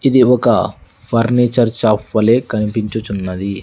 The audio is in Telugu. ఇది ఒక ఫర్నిచర్ షాప్ వలే కనిపించుచున్నది.